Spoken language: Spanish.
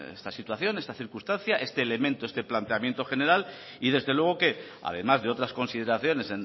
esta situación esta circunstancia este elemento este planteamiento general y desde luego que además de otras consideraciones